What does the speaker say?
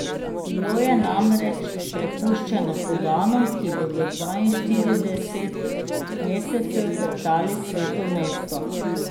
Bilo je namreč prepuščeno poganom, ki bodo dvainštirideset mesecev teptali sveto mesto.